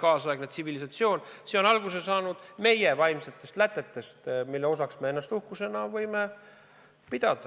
kaasaegne tsivilisatsioon, on alguse saanud meie vaimsetest lätetest, mille osaks me ennast uhkusega võime pidada.